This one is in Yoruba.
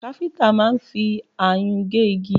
Káfíntà máà ń fi ayùn gé igi